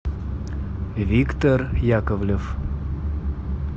виктор яковлев